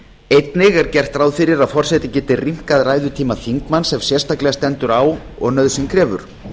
einnig er gert ráð fyrir því að forseti geti rýmkað ræðutíma þingmanns ef sérstaklega stendur á og nauðsyn krefur